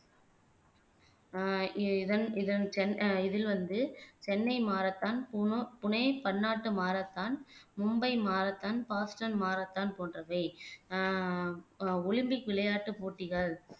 ஆஹ் இதன் இதன் அஹ் இதில் வந்து சென்னை மாரத்தான் புனோ புனே பன்னாட்டு marathon Mumbai marathon Boston marathon போன்றவை ஆஹ் ஒலிம்பிக் விளையாட்டுப் போட்டிகள்